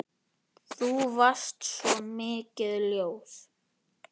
Þú varst svo mikið ljós.